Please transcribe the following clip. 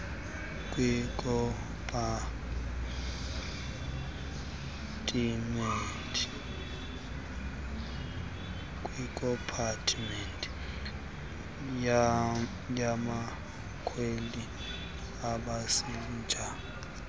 kwikompatimenti yabakhweli iipasenja